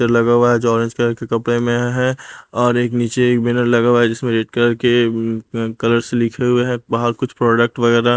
लगा हुआ है जो ऑरेंज कलर के कपड़े में है और एक नीचे मिरर लगा हुआ है जिसमें रेड कलर के कलर्स लिखे हुए हैं और कुछ प्रोडक्ट वगैरा--